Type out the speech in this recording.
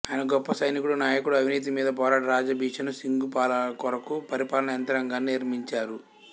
ఆయన గొప్ప సైనికుడు నాయకుడు అవినీతి మీద పోరాడి రాజా బిషను సింగు పాలన కొరకు పరిపాలనా యంత్రాంగాన్ని నిర్మించారు